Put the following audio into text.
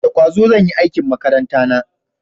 Da kwazo zan yi aikin makaranta na